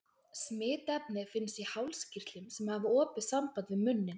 Smitefnið finnst í hálskirtlum, sem hafa opið samband við munninn.